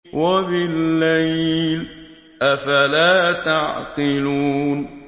وَبِاللَّيْلِ ۗ أَفَلَا تَعْقِلُونَ